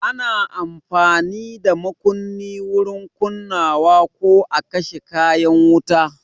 Ana amfani da makunni wurin kunnawa ko a kashe kayan wuta.